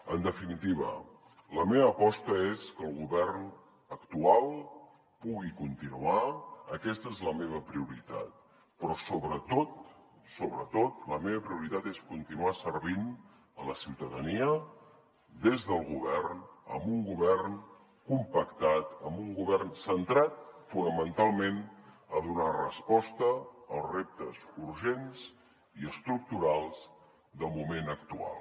en definitiva la meva aposta és que el govern actual pugui continuar aquesta és la meva prioritat però sobretot sobretot la meva prioritat és continuar servint la ciutadania des del govern amb un govern compactat amb un govern centrat fonamentalment a donar resposta als reptes urgents i estructurals del moment actual